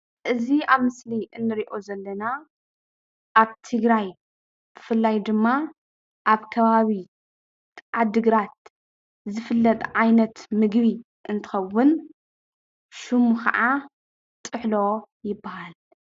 እዚ ኣብ ምስሊ እንሪኦ ዘለና ኣብ ትግራይ ብፍላይ ድማ ኣብ ከባቢ ዓዲግራት ዝፍለጥ ምግቢ እንትኸውን ሽሙ ከዓ ጥሕሎ ይበሃል፡፡